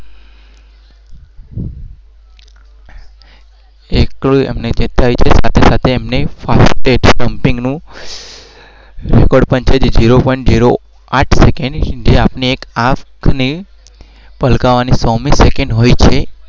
એક થાય છે